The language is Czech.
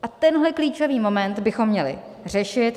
A tenhle klíčový moment bychom měli řešit.